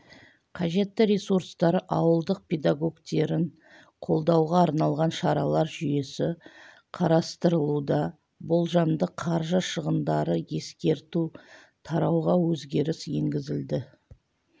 қажетті ресурстар ауылдық педагогтерін қолдауға арналған шаралар жүйесі қарастырылуда болжамды қаржы шығындары ескерту тарауға өзгеріс енгізілді